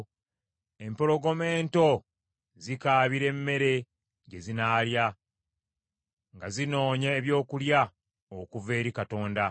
Empologoma ento zikaabira emmere gye zinaalya; nga zinoonya ebyokulya okuva eri Katonda.